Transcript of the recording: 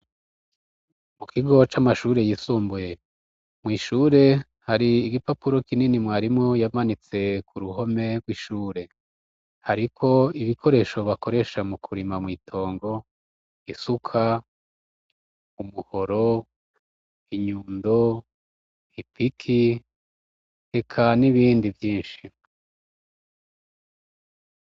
Mu kigo c'amashure yisumbuye, mw'ishure hari igipapuro kinini mwarimu yamanitse ku ruhome rw'ishure; hariko ibikoresho bakoresha mu kurima mw' itongo: isuka, umuhoro, inyundo, ipiki, eka n'ibindi vyinshi.